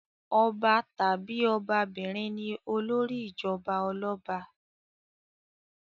Ọba tàbí ọbabìnrin ni olórí ìjọba ọlọ́ba.